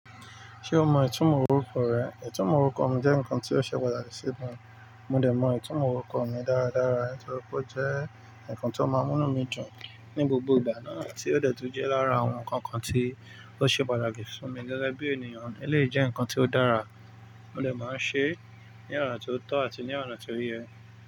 Ṣé o mọ ìtumọ̀ orúkọ rẹ? Ìtumọ̀ orúkọ mi jẹ́ nǹkan tí ó ṣe pàtàkì sí mi. Mo dẹ̀ mọ ìtumọ̀ orúkọ mi dáradára nítorí pé ó jẹ́ ǹkan tó máa ń mú mí dùn ní gbogbo ìgbà náà tí ó dẹ́ẹ̀ tí ó jẹ́ lára àwọn ǹkan kan tí ó ṣe pàtàkì fún mi gẹ́gẹ́ bí ènìyàn. Eleyi jẹ́ ǹkan tí ó dára, mo lè máa ń ṣe é ní ọ̀ràn tí ó tọ́ àti ní ọ̀ràn tí ó yẹ.